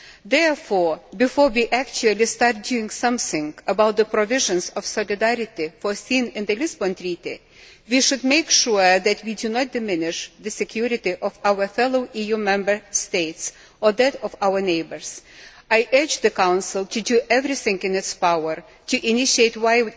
Therefore, before we actually start doing something about the provisions of solidarity foreseen in the Lisbon Treaty, we should make sure that we do not diminish the security of our fellow EU Member States or that of our neighbours. I urge the Council to do everything in its power to initiate wide